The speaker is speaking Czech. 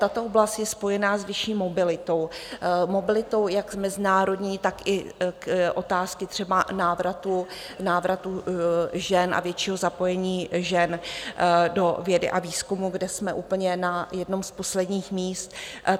Tato oblast je spojená s vyšší mobilitou, mobilitou jak mezinárodní, tak i otázky třeba návratu, návratu žen a většího zapojení žen do vědy a výzkumu, kde jsme úplně na jednom z posledních míst.